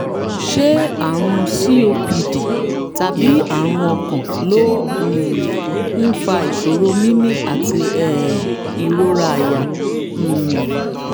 ṣé àrùn copd tàbí àrùn ọkàn ló um ń fa ìṣòro mímí àti um ìrora àyà? um